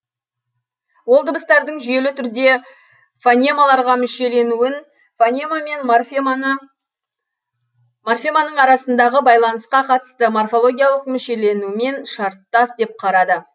ол дыбыстардың жүйелі түрде фонемаларға мүшеленуін фонема мен морфеманын арасындағы байланыска катысты морфологиялык мүшеленумен шарттас деп карады